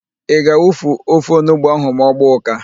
Ị ga-awufu ofe onugbo ahụ ma ọ gbaa ụ́ká?